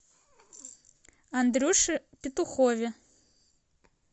андрюше петухове